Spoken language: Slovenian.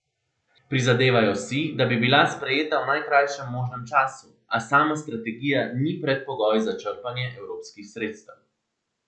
Prizadevajo si, da bi bila sprejeta v najkrajšem možnem času, a sama strategija ni predpogoj za črpanje evropskih sredstev.